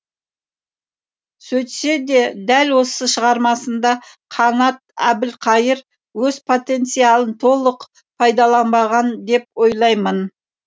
сөйтсе де дәл осы шығармасында қанат әбілқайыр өз потенциалын толық пайдаланбаған деп ойлаймын